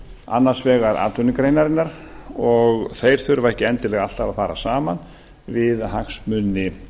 annars vegar atvinnugreinarinnar og þeir þurfa ekki endilega alltaf að fara saman við hagsmuni